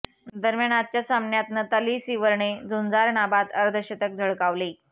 दरम्यान आजच्या सामन्यात नताली सीवरने झुंजार नाबाद अर्धशतक झळकावले